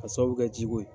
A sababu kɛ jiko ye